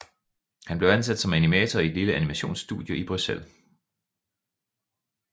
Han blev ansat som animator i et lille animationsstudie i Bruxelles